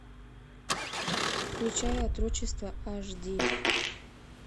включай отрочество аш ди